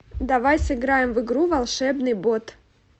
давай сыграем в игру волшебный бот